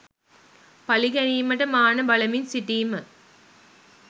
පලි ගැනීමට මාන බලමින් සිටීම